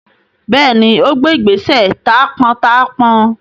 Bẹẹni, ó gbé ìgbésẹ̀ taápọntaápọn